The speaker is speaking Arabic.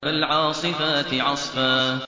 فَالْعَاصِفَاتِ عَصْفًا